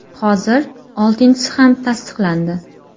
Hozir oltinchisi ham tasdiqlandi.